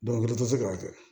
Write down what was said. tɛ se k'a kɛ